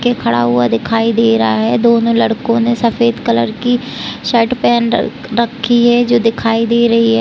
के खड़ा हुआ दिखाई दे रहा है दोनों लड़को ने सफ़ेद कलर की शर्ट पेहन रख रखी है जो दिखाई दे रही हैं।